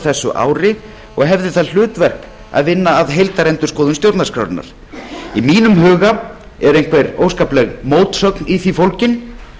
þessu ári og hefði það hlutverk að vinna að heildarendurskoðun stjórnarskrárinnar í mínum huga er einhver óskapleg mótsögn í því fólgin